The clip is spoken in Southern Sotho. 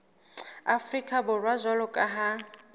afrika borwa jwalo ka ha